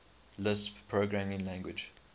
lisp programming language